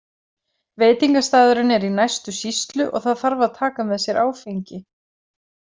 Veitingastaðurinn er í næstu sýslu og það þarf að taka með sér áfengi.